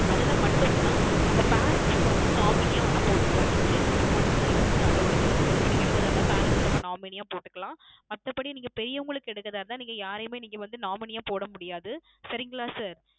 அதில மட்டும் தான் அவ Parents க்கு வந்து Nominee யாக வேணும் ன போட்டுக்கலாம் SirChildrens க்கு மட்டும் தான் இது வந்து AllowedChildrens க்கு நீங்க எடுக்குறதா இருந்தா Parents அ Nominee யா போட்டுக்கலாம் மத்தபடி நீங்க பெரியவங்களுக்கு எடுக்குறதா இருந்தா நீங்க யாரையுமே நீங்க வந்து Nominee யா போடா முடியாது சரிங்களா sir